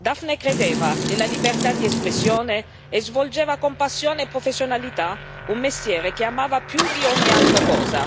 Dafne credeva nella libertà di espressione e svolgeva con passione e professionalità un mestiere che amava più di ogni altra cosa.